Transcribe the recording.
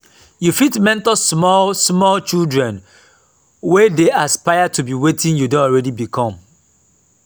you fit mentor small small children wey dey aspire to be wetin you don already become